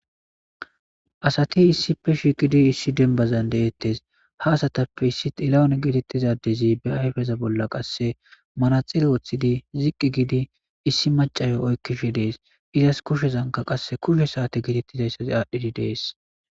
Asati issife shiqidi issi denbazan deettes ha asatappe issi ilawone gedettizadezi be ayfeza bolla qasse manaxele woththidi ziqqi giidi issi macayo oykkishe dees izas kushezanka qasse kushe saate gitettizayssa aadhdhidi dees